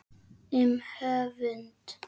Um höfund